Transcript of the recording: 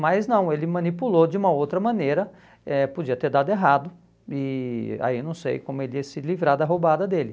Mas não, ele manipulou de uma outra maneira, eh podia ter dado errado, e aí não sei como ele ia se livrar da roubada dele.